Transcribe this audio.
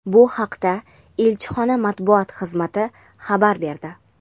Bu haqda elchixona Matbuot xizmati xabar berdi.